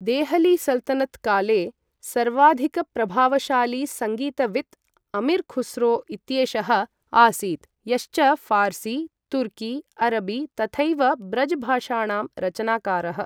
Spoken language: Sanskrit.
देहली सल्तनत् काले सर्वाधिकप्रभावशाली सङ्गीतवित् अमीर् खुस्रो इत्येषः आसीत्, यश्च ऴार्सी, तुर्की, अरबी तथैव ब्रज भाषाणां रचनाकारः।